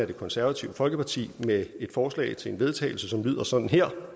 det konservative folkeparti med et forslag til vedtagelse som lyder sådan her